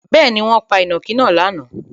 Bẹ́ẹ̀ni, wọ́n pa ìnàkí náà lánàá.